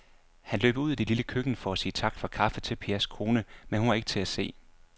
Han løb ud i det lille køkken for at sige tak for kaffe til Pers kone, men hun var ikke til at se.